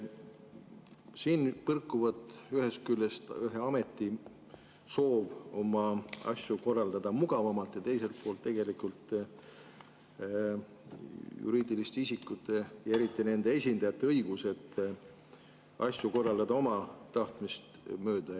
Siin põrkuvad ühest küljest ühe ameti soov oma asju korraldada mugavamalt ja teiselt poolt juriidiliste isikute ja eriti nende esindajate õigused asju korraldada oma tahtmist mööda.